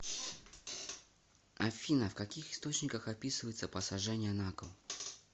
афина в каких источниках описывается посажение на кол